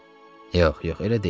Yox, yox, elə deyil.